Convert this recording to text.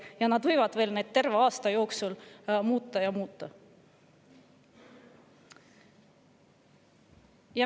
Nad võivad neid terve aasta jooksul muuta ja muuta.